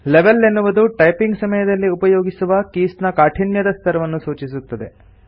level ಎನ್ನುವುದು typing ಸಮಯದಲ್ಲಿ ಉಪಯೋಗಿಸುವ ಕೀಸ್ ನ ಕಾಠಿಣ್ಯದ ಸ್ತರವನ್ನು ಸೂಚಿಸುತ್ತದೆ